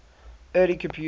early computers